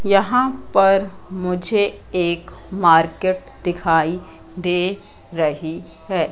यहां पर मुझे एक मार्केट दिखाई दे रही है।